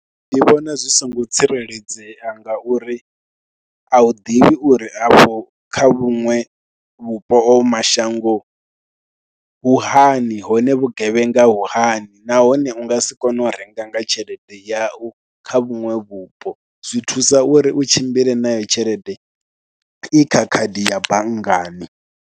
Ndi vhona zwi songo tsireledzea ngauri a u ḓivhi uri afho kha vhuṅwe vhupo o mashango u hani hone vhugevhenga vhu hani nahone u nga si kone u renga nga tshelede yau kha vhuṅwe vhupo, zwi thusa uri u tshimbile nayo tshelede i kha khadi ya banngani.